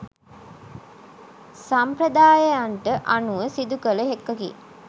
සම්ප්‍රදායයන්ට අනුව සිදුකළ එකකි.